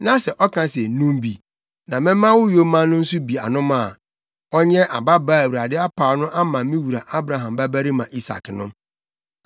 na sɛ ɔka se, “Nom bi, na mɛma wo yoma no nso bi anom” a, ɔnyɛ ababaa a Awurade apaw no ama me wura Abraham babarima Isak no.’